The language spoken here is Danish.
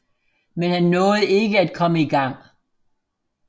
Men han nåede ikke at komme i gang